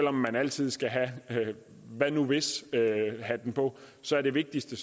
om man altid skal have hvad nu hvis hatten på så er det vigtigste